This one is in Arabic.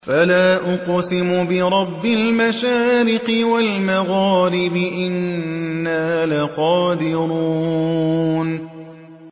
فَلَا أُقْسِمُ بِرَبِّ الْمَشَارِقِ وَالْمَغَارِبِ إِنَّا لَقَادِرُونَ